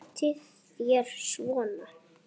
Notið þér svona?